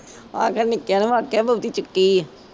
ਆਹ ਗੱਲ ਨਿੱਕਿਆਂ ਨੂੰ ਅੱਤ ਆ ਬਹੁਤੀ ਚੁੱਕੀ ਏ।